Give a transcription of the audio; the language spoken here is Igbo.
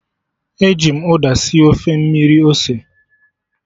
E ji m uda sie Ofe mmiri ose